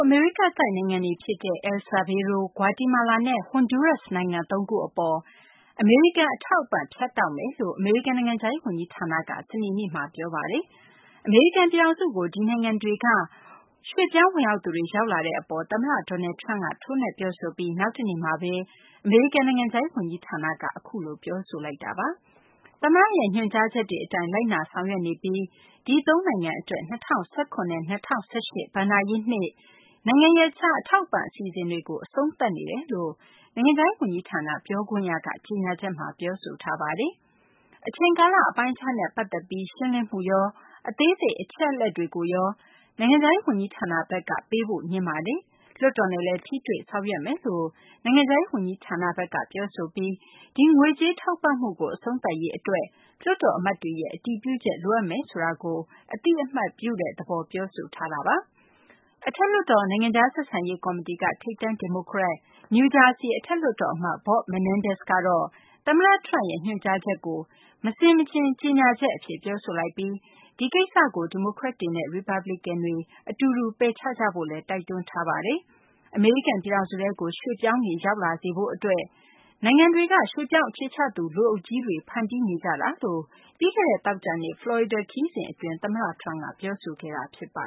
အမေရိကတိုက် နိုင်ငံတွေ ဖြစ်တဲ့ El Salvador၊ Guatemala နဲ့ ဟွန်ဒူးရပ်စ် နိုင်ငံသုံးခု အပေါ် အမေရိကန် အထောက်အပံ့ ဖြတ်တောက်မယ်လို့ အမေရိကန် နိုင်ငံခြားရေး ဝန်ကြီးဌာနက စနေနေ့မှာ ပြောဆိုလိုက်ပါတယ်။ အမေရိကန် ပြည်ထောင်စုကို ဒီနိုင်ငံတွေက ရွှေ့ပြောင်းဝင်ရောက်သူတွေ ရောက်လာတဲ့ အပေါ် သမ္မတ Donald Trump က ထိုးနှက် ပြောဆိုပြီး နောက်နေ့မှာဘဲ အမေရိကန် နိုင်ငံခြားရေး ဝန်ကြီးဌာနက အခုလို ပြောဆိုလိုက်တာပါ။ သမ္မတရဲ့ ညွှန်ကြားချက်တွေ အတိုင်း လိုက်နာဆောင်ရွက်နေပြီး ဒီ ၃ နိုင်ငံ အတွက် ၂၀၁၇ နဲ့ ၂၀၁၈ ဘဏ္ဍာနှစ် နိုင်ငံရပ်ခြား အထောက်အပံ့ အစီအစဉ်တွေကို အဆုံးသတ်နေပါတယ်လို့ နိုင်ငံခြားရေး ဝန်ကြီးဌာန ပြောခွင့်ရက ကြေညာချက်မှာ ပြောဆိုထားပါတယ်။ အချိန်ကာလ အပိုင်းအခြားနဲ့ ပတ်သက်ပြီး ရှင်းလင်းမှုရော၊ အသေးစိတ် အချက်အလက်တွေကိုရော နိုင်ငံခြားရေး ဝန်ကြီးဌာနဘက်က ပေးဖို့ ငြင်းပါတယ်။ လွှတ်တော်နဲ့လည်း ထိတွေ့ ဆောင်ရွက်သွားပါမယ်လို့ နိုင်ငံခြားရေး ဝန်ကြီးဌာနဘက်က ပြောဆိုပြီး ဒီငွေကြေးထောက်ပံ့မှုကို အဆုံးသတ်ရေး အတွက် လွှတ်တော် အမတ်တွေရဲ့ အတည်ပြုချက် လိုအပ်မယ်ဆိုတာကို အသိအမှတ်ပြုတဲ့ သဘော ပြောဆိုထားပါတယ်။ အထက်လွှတ်တော် နိုင်ငံခြား ဆက်ဆံရေး ကော်မတီက ထိပ်တန်း ဒီမိုကရက်၊ နယူးဂျာဆီ အထက်လွှတ်တော် အမတ် Bob Menendez ကတော့ သမ္မတ Trump ရဲ့ ညွှန်ကြားချက်ကို မဆင်မခြင် ကြေညာချက် အဖြစ် ပြောဆိုလိုက်ပြီး ဒီကိစ္စကို ဒီမိုကရက်တွေနဲ့ ရီပတ်ပလီကန်တွေ အတူတူ ပယ်ချကြဖို့လည်း တိုက်တွန်းလိုက်ပါတယ်။ အမေရိကန် ပြည်ထောင်စုထဲကို ရွှေ့ပြောင်းတွေ ရောက်လာစေရေး အတွက် နိုင်ငံတွေက ရွှေ့ပြောင်း အခြေချသူ လူအုပ်ကြီးတွေ ဖန်တီးနေကြတာလို့ ပြီးခဲ့တဲ့ သောကြာနေ့က ဖလော်ရီဒါ ခရီးစဉ် အတွင်း သမ္မတ Trump က ပြောဆိုခဲ့တာပါ